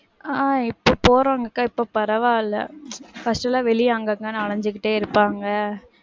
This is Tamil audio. ஆஹ் இப்போ போறவங்க கிட்ட இப்போ பரவாயில்ல. first எல்லாம் வெளிய அங்க அங்கன்னு அலஞ்சிகிட்டே இருப்பாங்க.